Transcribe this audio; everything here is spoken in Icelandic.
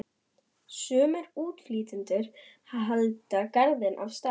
Sumir útflytjendur halda glaðir af stað.